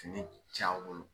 c'aw bolo